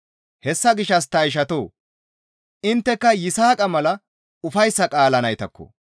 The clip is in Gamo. Hessa gishshas ta ishatoo! Intteka Yisaaqa mala ufayssa qaalaa naytakko.